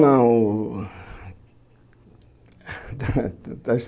Não. Está está